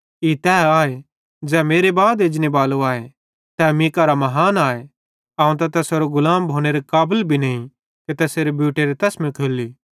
ई तै आए ज़ै मेरे बाद एजनेबालो आए तै मीं करां महान आए अवं त तैसेरो गुलाम भोनेरे काबल भी नईं कि तैसेरे बूटेरे तसमे खोल्ली